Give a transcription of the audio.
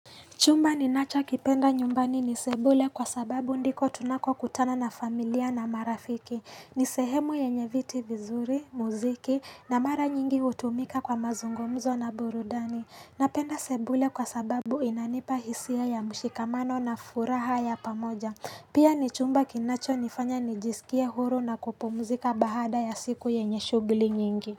Chumba ninacho kipenda nyumbani ni sebule kwa sababu ndiko tunako kutana na familia na marafiki. Nisehemu yenyeviti vizuri, muziki na mara nyingi hutumika kwa mazungumzo na burudani. Napenda sebule kwa sababu inanipa hisia ya mshikamano na furaha ya pamoja. Pia ni chumba kinacho nifanya nijiskie huru na kupumzika bahada ya siku yenye shughli nyingi.